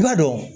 I b'a dɔn